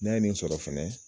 N'a ye nin sɔrɔ fana.